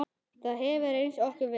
Það hefur reynst okkur vel.